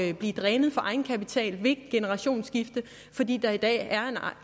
at blive drænet for egenkapital ved et generationsskifte fordi der i dag er